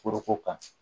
Foroko kan